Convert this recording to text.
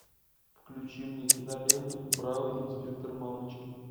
включи мне киноленту браво инспектор мамочкин